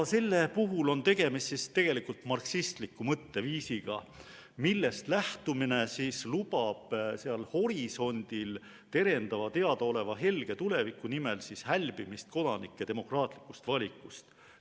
Selle puhul on tegemist tegelikult marksistliku mõtteviisiga, millest lähtumine lubab seal horisondil terendava teadaoleva helge tuleviku nimel hälbimist kodanike demokraatlikust valikust.